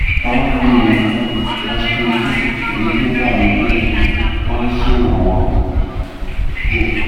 mo ń lo oògùn estrogen èyí tó dàbíi pé ó ń ṣèrànwọ́ díẹ̀